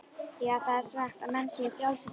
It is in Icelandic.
Já, það er sagt að menn séu frjálsir þar.